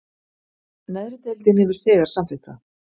Neðri deildin hefur þegar samþykkt það